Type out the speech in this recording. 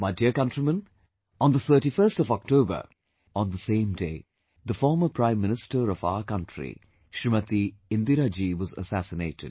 My dear countrymen, on 31st October, on the same day... the former Prime Minister of our country Smt Indira ji was assasinated